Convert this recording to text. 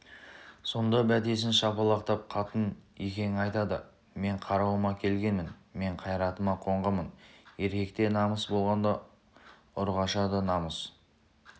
сонда бәтесін шапалақтап қатын-екең айтады мен қарауыма келгенмін мен қайратыма қонғанмын еркекте намыс болғанда ұрғашыда намыс